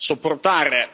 sopportare.